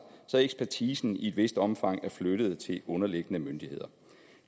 så ekspertisen i et vist omfang er flyttet til underliggende myndigheder